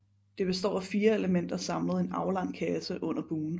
Det består af fire elementer samlet i en aflang kasse under bugen